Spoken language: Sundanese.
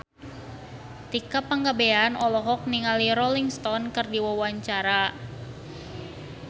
Tika Pangabean olohok ningali Rolling Stone keur diwawancara